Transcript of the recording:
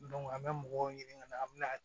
an bɛ mɔgɔw ɲini ka na an bɛna